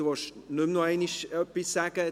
Sie wollen nichts mehr sagen, nehme ich an.